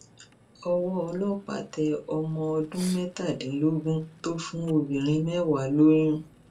ọwọ ọlọpàá tẹ ọmọ ọdún mẹtàdínlógún tó fún obìnrin mẹwàá lóyún